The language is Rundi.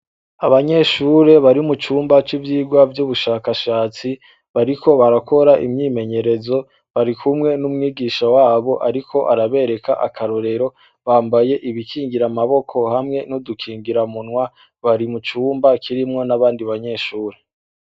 Abanyeshure bari mucumba civyigwa vyubushakashatsi bariko barakora imyimenyerezo; barikumwe numwigisha wabo ariko arabereka akarorero; bambaye ibikingira amaboko hamwe nudukingiramunwa; bari mucumba kirimwo nabandi banyeshure.